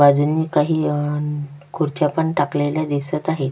बाजूनी काही खुर्च्या पण टाकलेल्या दिसत आहेत.